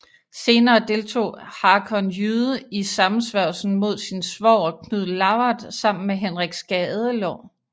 Senere deltog Hakon Jyde i sammensværgelsen mod sin svoger Knud Lavard sammen med Henrik Skadelår